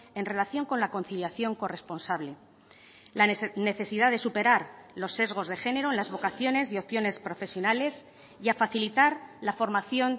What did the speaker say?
en relación con la conciliación corresponsable la necesidad de superar los sesgos de género en las vocaciones y opciones profesionales y a facilitar la formación